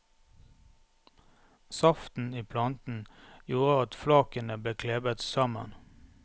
Saften i planten gjorde at flakene ble klebet sammen.